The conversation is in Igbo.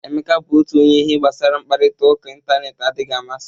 Emeka bụ otu onye ihe gbasara mkparịta ụka ịntanetị adịghị amasi.